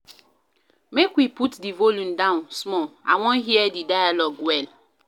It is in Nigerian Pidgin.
Make we put di volume down small I wan hear di dialogue well.